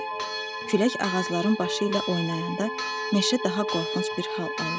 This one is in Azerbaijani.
Külək ağacların başı ilə oynayanda meşə daha qorxunc bir hal alırdı.